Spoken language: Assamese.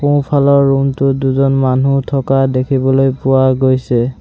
সোঁফালৰ ৰুম টোত দুজন মানুহ থকা দেখিবলৈ পোৱা গৈছে।